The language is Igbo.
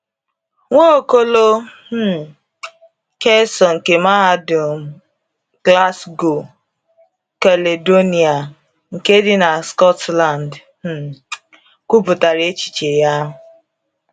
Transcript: Nwaokolo um Kelso nke Mahadum Glasgow Caledonia nke dị na Scotland um kwupụtara echiche ya..